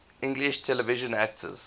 english television actors